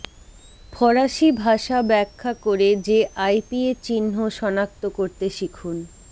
ফরাসি ভাষা ব্যাখ্যা করে যে আইপিএ চিহ্ন সনাক্ত করতে শিখুন